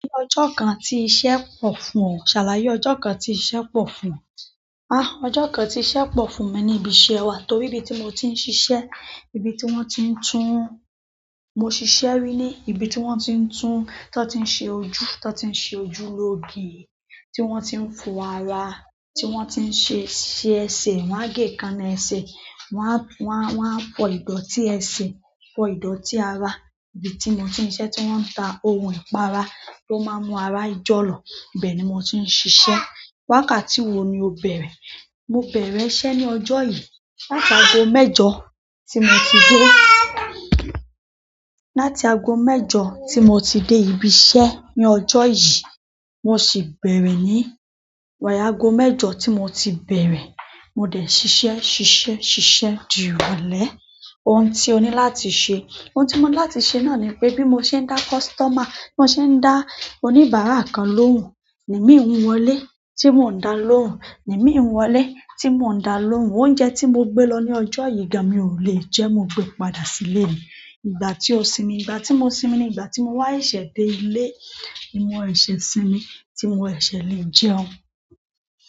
Ní ọjọ́ kan tí iṣẹ́ pọ̀ fún ọ, ṣàlàyé ọjọ́ kan tí iṣẹ́ pọ̀ fún ọ? Ah, ọjọ́ kan tí iṣẹ́ pọ̀ fún mi ni ibi iṣẹ́ wa torí ibi tí mo ti ń ṣiṣẹ́, ibi tí wón ti ń tún, mo ṣiṣẹ́ rí ní ibi tí wón ti ń tún, tí wón ti ń ṣe ojú, tí wón ti ń ṣe ojúlóge, tí wón ti ń fọ ara, tí wón ti ń ṣe, ṣe ẹsẹ̀, wón á gé ìkaná ẹsẹ̀, wón a, wón a, wón a fọ ìdọ̀ti ẹsẹ, fọ ìdọ̀tí ara. Ibi tí mo ti ń ṣe iṣẹ́ tí wón ń ta ohun ìpara tó máa ń mọ ara ijọ lọ, ibẹ̀ ni mo ti ń ṣiṣẹ́. Wákàtí wo ni o bẹ̀rẹ̀? Mo bẹ̀rẹ̀ iṣẹ́ ní ọjọ́ yìí. Láti ago mẹ́jọ tí mo ti dé. Láti ago mẹ́jọ tí mo ti dé ibi iṣẹ́ ní ọjọ́ yìí, mo sì bẹ̀rẹ̀ ní wáyà ago mẹ́jọ tí mo ti bẹ̀rẹ̀, mo dẹ̀ ṣiṣẹ́, ṣiṣẹ́, ṣiṣẹ́ di ìrọ̀lẹ́. Ohun tí o ní láti ṣe. Ohun tí mo ní láti ṣe náà ni pé bí mo ṣe ń dá kọsítọ́mà, bí mo ṣe ń dá oníbàárà kan lóhùn, ni mí ń wọlé. Tí mò ń dá lóhùn, ni mí ń wọlé. Tí mò ń dá lóhùn, oúnjẹ tí mo gbé lọ ní ọjọ́ yígan mi ò lè jẹ́, mo gbe padà sílé mi. Ìgbà tí o sinmi. Ìgbà tí mo sinmi ni ìgbà tí mo wá seṣẹ̀ dé ilé, mo sẹ̀ṣẹ̀ sinmi tí mò sẹ̀ṣẹ̀ lè jẹun.